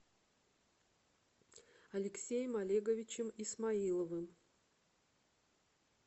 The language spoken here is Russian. алексеем олеговичем исмаиловым